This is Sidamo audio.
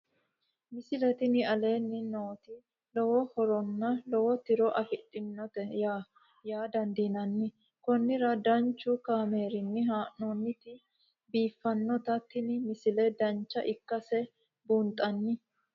misile tini aleenni nooti lowo horonna lowo tiro afidhinote yaa dandiinanni konnira danchu kaameerinni haa'noonnite biiffannote tini misile dancha ikkase buunxanni